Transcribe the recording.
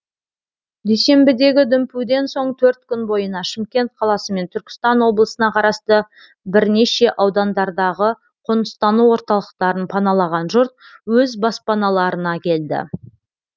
дүйсенбідегі дүмпуден соң төрт күн бойына шымкент қаласы мен түркістан облысына қарасты бірінеше аудандардағы қоныстану орталықтарын паналаған жұрт өз баспаналарына келді